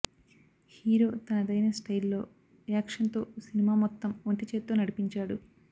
hero తనదైన స్టయిల్లో యాక్షన్తో సినిమా మొత్తం ఒంటి చేత్తో నడిపించాడు